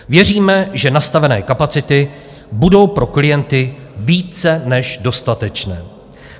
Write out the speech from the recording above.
Věříme, že nastavené kapacity budou pro klienty více než dostatečné.